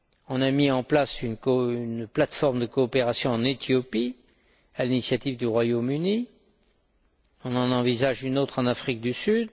On a mis en place une plate forme de coopération en Éthiopie à l'initiative du Royaume Uni, on en envisage une autre en Afrique du Sud.